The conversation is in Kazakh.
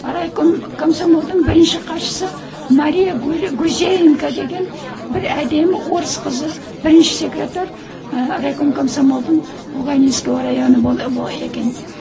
райком комсомолдың бірінші хатшысы мария гусейенко деген бір әдемі орыс қызы бірінші секретарь ы райком комсомолдың когалинского районы екен